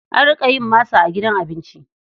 An riƙa yin masa a gidan abinci.